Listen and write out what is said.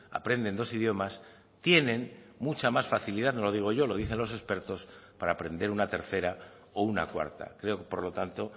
aprenden dos idiomas tienen mucha más facilidad no lo digo yo lo dicen los expertos para aprender una tercera o una cuarta creo que por lo tanto